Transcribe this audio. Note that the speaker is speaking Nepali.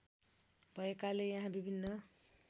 भएकाले यहाँ विभिन्न